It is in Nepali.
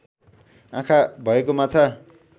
आँखा भएको माछा